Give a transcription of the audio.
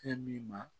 Fɛn min ma